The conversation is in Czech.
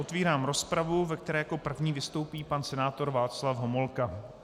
Otvírám rozpravu, ve které jako první vystoupí pan senátor Václav Homolka.